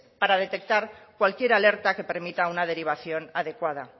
para detectar cualquier alerta que permita una derivación adecuada